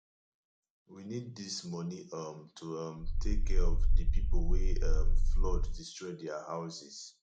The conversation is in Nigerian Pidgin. we need dis money um to um take care of the people wey um flood destroy their houses